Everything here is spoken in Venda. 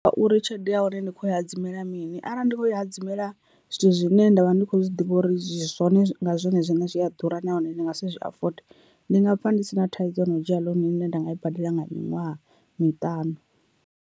Ngauri tshelede ya hone ndi khou i hadzimela mini arali ndi kho i hadzimamela zwithu zwine ndavha ndi kho zwi ḓivha uri zwone nga zwone zwine zwi a ḓura nahone ndi nga si zwi afode ndi nga pfha ndi si na thaidzo no dzhia ḽounu ine nda nga i badela nga miṅwaha miṱanu.